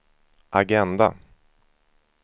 agenda